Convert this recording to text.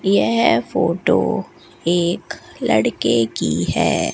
यह फोटो एक लड़के की है।